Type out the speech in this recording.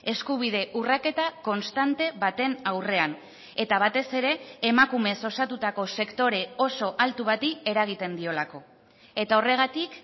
eskubide urraketa konstante baten aurrean eta batez ere emakumez osatutako sektore oso altu bati eragiten diolako eta horregatik